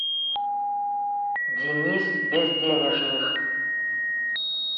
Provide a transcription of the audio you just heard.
денис безденежных